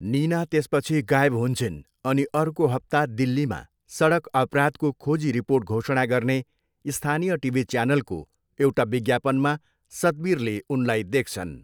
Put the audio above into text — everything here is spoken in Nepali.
निना त्यसपछि गायब हुन्छिन् अनि अर्को हप्ता दिल्लीमा सडक अपराधको खोजी रिपोर्ट घोषणा गर्ने स्थानीय टिभी च्यानलको एउटा विज्ञापनमा सतवीरले उनलाई देख्छन्।